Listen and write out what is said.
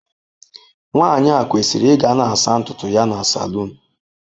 Nwanyị a kwesịrị ịga na-asa ntutu ya na saloon.